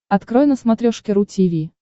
открой на смотрешке ру ти ви